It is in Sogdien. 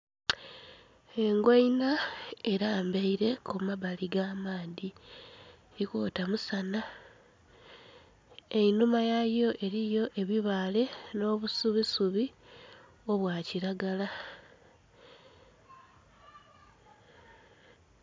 Engoina elambaire ku mabbali ga'maadhi eri kwotaire mu saana, einhuma yayo eriyo obu bale bale no'busubi obwa kilagala.